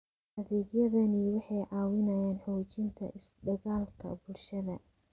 Adeegyadani waxay caawiyaan xoojinta is-dhexgalka bulshada.